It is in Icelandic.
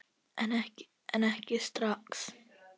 En ekki strax.